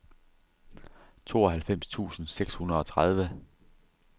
tooghalvfems tusind seks hundrede og tredive